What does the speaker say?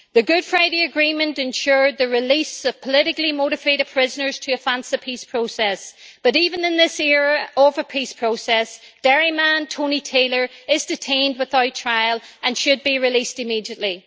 The Good Friday Agreement ensured the release of politically motivated prisoners to advance the peace process, but even in this era of the peace process Derry man Tony Taylor is detained without trial and should be released immediately.